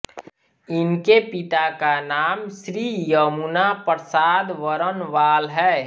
इनके पिता का नाम श्री यमुना प्रसाद बरनवाल है